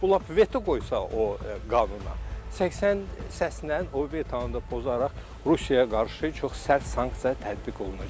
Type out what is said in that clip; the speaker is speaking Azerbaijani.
Bu lap veto qoysa o qanuna, 80 səslə o qanunu da pozaraq Rusiyaya qarşı çox sərt sanksiya tətbiq olunacaq.